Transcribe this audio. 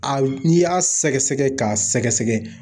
A n'i y'a sɛgɛsɛgɛ k'a sɛgɛsɛgɛ.